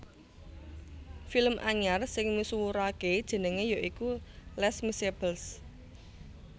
Film anyar sing misuwuraké jenengé ya iku Lés Miseables